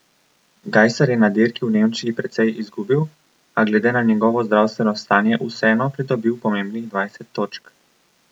Gajser je na dirki v Nemčiji precej izgubil, a glede na njegovo zdravstveno stanje vseeno pridobil pomembnih dvajset točk.